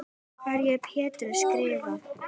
Hverju er Pétur að skrökva?